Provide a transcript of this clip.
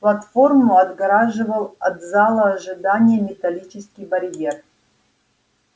платформу отгораживал от зала ожидания металлический барьер